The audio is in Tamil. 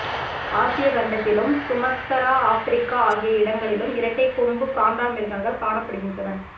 ஆசியா கண்டத்திலும் சுமத்தரா ஆப்பிரிக்கா ஆகிய இடங்களிலும் இரட்டைக்கொம்பு காண்டாமிருகங்கள் காணப்படுகின்றன